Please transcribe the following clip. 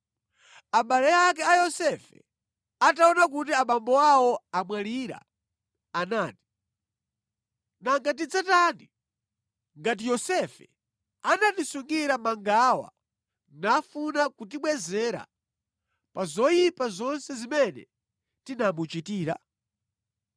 Abale ake a Yosefe ataona kuti abambo awo amwalira, anati, “Nanga tidzatani ngati Yosefe anatisungira mangawa nafuna kutibwezera pa zoyipa zonse zimene tinamuchitira?”